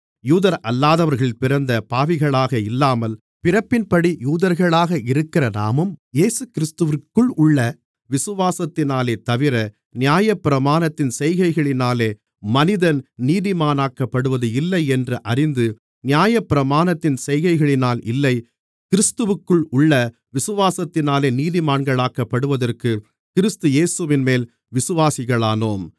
யூதரல்லாதவர்களில் பிறந்த பாவிகளாக இல்லாமல் பிறப்பின்படி யூதர்களாக இருக்கிற நாமும் இயேசுகிறிஸ்துவிற்குள் உள்ள விசுவாசத்தினாலேதவிர நியாயப்பிரமாணத்தின் செய்கைகளினாலே மனிதன் நீதிமானாக்கப்படுவது இல்லை என்று அறிந்து நியாயப்பிரமாணத்தின் செய்கைகளினால் இல்லை கிறிஸ்துவிற்குள் உள்ள விசுவாசத்தினாலே நீதிமான்களாக்கப்படுவதற்குக் கிறிஸ்து இயேசுவின்மேல் விசுவாசிகளானோம்